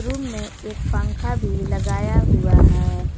Room में एक पंखा भी लगाया हुआ है।